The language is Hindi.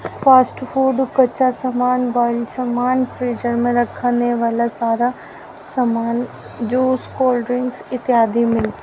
फास्ट फूड कच्चा सामान बाइल सामान फ्रीजर में रखने वाला सारा सामान ज्यूस कोल्ड ड्रिंक्स इत्यादि मि --